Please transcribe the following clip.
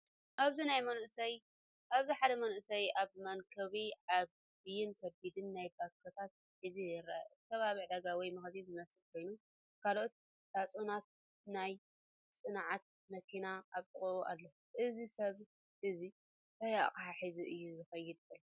ኣብዚ ሓደ መንእሰይ ኣብ መንኵቡ ዓቢን ከቢድን ናይ ባኮታት ሒዙ ይርአ። እቲ ከባቢ ዕዳጋ ወይ መኽዘን ዝመስል ኮይኑ፡ ካልኦት ሳጹናትን ናይ ጽዕነት መኪናን ኣብ ጥቓኡ ኣሎ። እዚ ሰብ እዚ እንታይ ኣቕሓ ሒዙ እዩ ዝኸይድ ዘሎ?